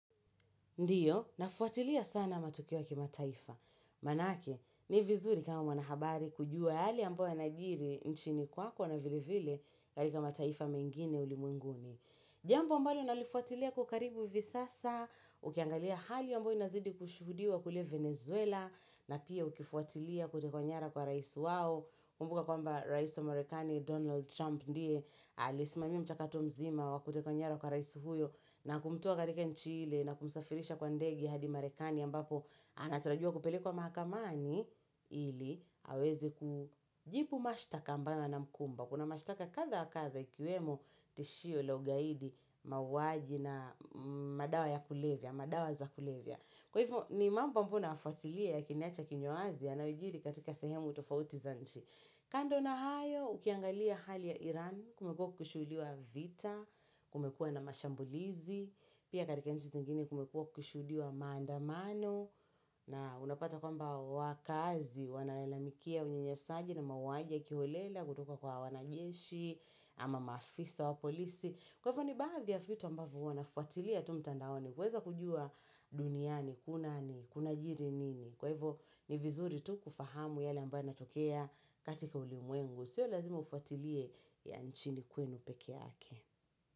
Ndiyo, nafwatilia sana matokeo ya kima taifa. Manake, ni vizuri kama wanahabari kujua yale ambayo yanajiri nchini kwako na vile vile katika mataifa mengine ulimwenguni. Jambo ambalo nalifwatilia kwa ukaribu hivi sasa, ukiangalia hali ambayo inazidi kushuhudiwa kule Venezuela, na pia ukifwatilia kutekwa nyara kwa raisi wao, kumbuka kwamba raisi wa marekani Donald Trump ndiye, alisimamia mchakato mzima wa kutekwa nyara kwa raisi huyo, na kumtoa katika nchi hile na kumsafirisha kwa ndege hadi marekani ambapo anatarajiwa kupelekwa mahakamani, ili hawezi kujibu mashtaka ambayo na mkumba. Kuna mashtaka kadha wa kadha ikiwemo tishio la ugaidi mauwaji na madawa ya kulevya, madawa za kulevya. Kwa hivyo ni mambo ambayo naya fwatilia yakiniacha kinywa wazi yanayojiri katika sehemu utofauti za nchi. Kando na hayo, ukiangalia hali ya Iran kumekua kukishuhudiwa vita, kumekua na mashambulizi, pia katika nchi zengine kumekuwa kukishuhudiwa maandamano, na unapata kwamba wakaazi, wanalalamikia unyanyasaji na mauwaji ya kiholela kutoka kwa wanajeshi, ama maafisa wa polisi. Kwa hivyo ni baadhi ya vitu ambavyo huwa nafwatilia tu mtandaoni. Kuweza kujuwa duniani, kunani, kunajiri nini. Kwa hivyo ni vizuri tu kufahamu yale ambayo yanatokea katika ulimwengu. Sio lazima ufwatilie ya nchini kwenu pekeake.